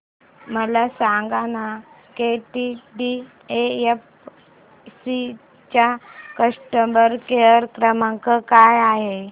मला सांगाना केटीडीएफसी चा कस्टमर केअर क्रमांक काय आहे